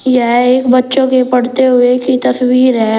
यह एक बच्चों के पढ़ते हुए की तस्वीर है।